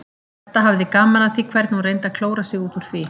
Edda hafði gaman af því hvernig hún reyndi að klóra sig út úr því.